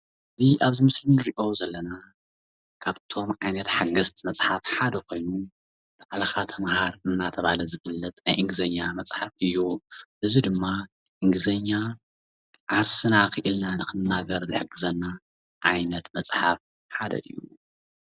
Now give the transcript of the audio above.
እዚ ኣብዚ ምስሊ እንርእዮ ዘለና ካብቶም ዓይነት ሓገዝቲ መፅሓፍ ሓደ ኮይኑ ባዕልኻ ተመሃር እንዳተባሃለ ዝፍለጥ ናይ እንግሊዘኛ መፅሓፍ እዩ። እዚ ድማ እንግሊዘኛ ዓርስና ኪኢልና ንክንናገር ዝሕግዘና ዓይነት መፅሓፍ ሓደ እዩ።